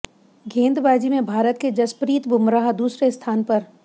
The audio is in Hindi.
गेंदबाजी में भारत के जसप्रीत बुमराह दूसरे स्थान पर